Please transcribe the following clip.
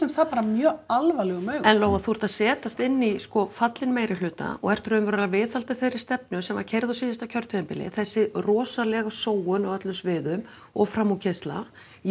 það bara mjög alvarlegum augum en Lóa þú ert að setjast inn í sko fallinn meirihluta og ert raunverulega að viðhalda þeirri stefnu sem var keyrð á síðasta kjörtímabili þessi rosalega sóun á öllum sviðum og framúrkeyrsla